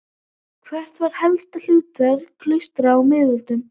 Hvert var helsta hlutverk klaustra á miðöldum?